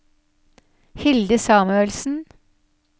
Hilde Samuelsen